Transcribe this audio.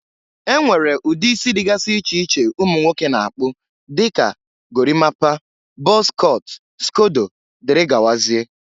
e nwere ụdị isi dịgasị iche iche ụmụ nwoke na-akpụ dịka: gorimapa, bọz cọt, skodo, dgz.